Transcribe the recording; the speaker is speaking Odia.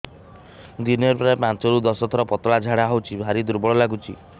ଦିନରେ ପ୍ରାୟ ପାଞ୍ଚରୁ ଦଶ ଥର ପତଳା ଝାଡା ହଉଚି ଭାରି ଦୁର୍ବଳ ଲାଗୁଚି